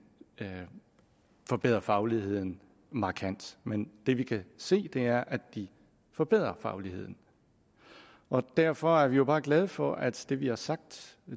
forbedrer fagligheden markant men det vi kan se er at de forbedrer fagligheden og derfor er vi jo bare glade for at det vi har sagt